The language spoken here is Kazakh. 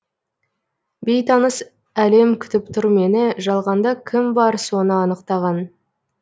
бейтаныс әлем күтіп тұр мені жалғанда кім бар соны анықтаған